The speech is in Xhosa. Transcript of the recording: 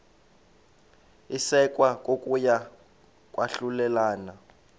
isekwa kokuya kwahlulelana